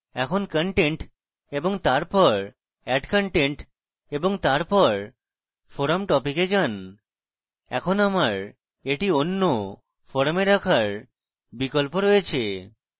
এখন content তারপর add content এবং তারপর forum topic a যান এখন আমার এটি অন্য forums a রাখার বিকল্প রয়েছে